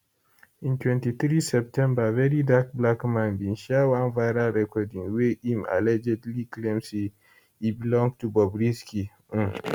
in 23 september verydarkblackman bin share one viral recording wey im allegedly claim say e belong to bobrisky um